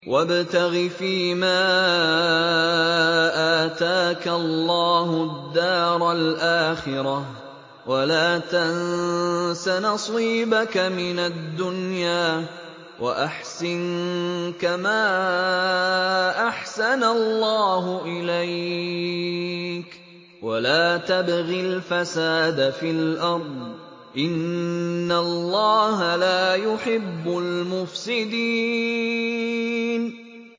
وَابْتَغِ فِيمَا آتَاكَ اللَّهُ الدَّارَ الْآخِرَةَ ۖ وَلَا تَنسَ نَصِيبَكَ مِنَ الدُّنْيَا ۖ وَأَحْسِن كَمَا أَحْسَنَ اللَّهُ إِلَيْكَ ۖ وَلَا تَبْغِ الْفَسَادَ فِي الْأَرْضِ ۖ إِنَّ اللَّهَ لَا يُحِبُّ الْمُفْسِدِينَ